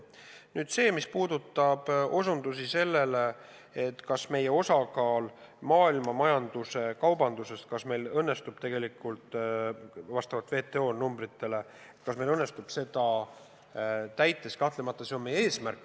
Nüüd, mis puudutab osutusi sellele, kas meil õnnestub kasvatada oma osakaalu maailmamajanduse kaubanduses vastavalt WTO numbritele, siis kahtlemata see on meie eesmärk.